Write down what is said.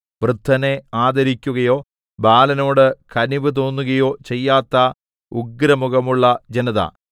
വൃദ്ധനെ ആദരിക്കുകയോ ബാലനോടു കനിവ് തോന്നുകയോ ചെയ്യാത്ത ഉഗ്രമുഖമുള്ള ജനത